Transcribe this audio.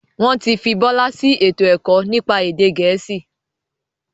Wọn tí fi Bọlá sì ètò ẹ̀kọ́ nípa èdè gẹ̀ẹ́sì.